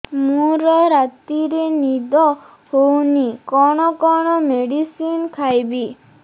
ମୋର ରାତିରେ ନିଦ ହଉନି କଣ କଣ ମେଡିସିନ ଖାଇବି